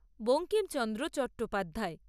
Bankimchandra Chattopadhyay